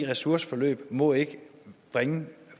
ressourceforløb må ikke bringe